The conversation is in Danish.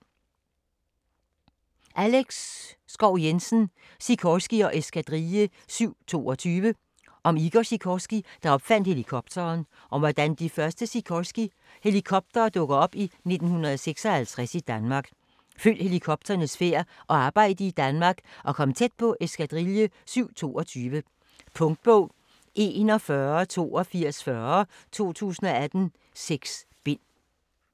Schou Jensen, Alex: Sikorsky & Eskadrille 722 Om Igor Sikorsky, der opfandt helikopteren, og om hvordan de første Sikorsky helikoptere dukker op i 1956 i Danmark. Følg helikopternes færd og arbejde i Danmark, og kom tæt på Eskadrille 722. Punktbog 418240 2018. 6 bind.